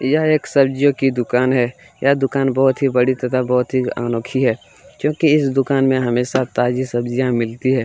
यह एक सब्जियों की दुकान है यह दूकान बहुत ही बड़ी तथा बहुत ही अनोखी है क्योंकि इस दुकान में हमे सब ताज़ी सब्जियां मिलती है ।